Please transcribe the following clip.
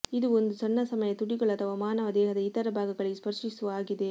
ಇದು ಒಂದು ಸಣ್ಣ ಸಮಯ ತುಟಿಗಳು ಅಥವಾ ಮಾನವ ದೇಹದ ಇತರ ಭಾಗಗಳಿಗೆ ಸ್ಪರ್ಶಿಸುವ ಆಗಿದೆ